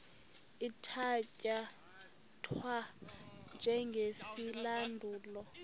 ithatya thwa njengesilandulo